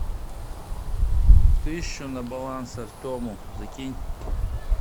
тысячу на баланс артему закинь